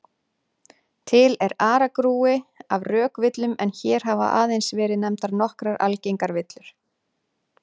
Til er aragrúi af rökvillum en hér hafa aðeins verið nefndar nokkrar algengar villur.